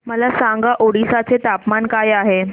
मला सांगा ओडिशा चे तापमान काय आहे